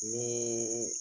Nii